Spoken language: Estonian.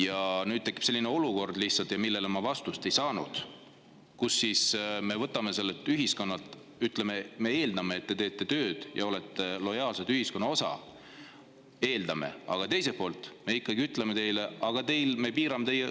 Aga nüüd tekib selline olukord, kus me ütleme, et me eeldame, et te teete tööd ja olete lojaalne ühiskonna osa, aga teiselt poolt me ütleme teile, et me piirame teie õigusi.